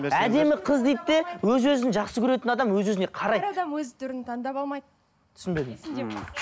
әдемі қыз дейді де өз өзін жақсы көретін адам өз өзіне қарайды әр адам өз түрін таңдап аламайды түсінбедім